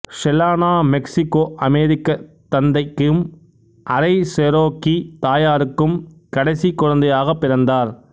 Selena மெக்சிக்கோஅமெரிக்கத் தந்தைக்கும் அரைசெரோக்கீ தாயாருக்கும் கடைசிக் குழந்தையாகப் பிறந்தார்